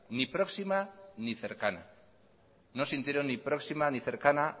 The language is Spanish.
ni próxima ni cercana no sintieron ni próxima ni cercana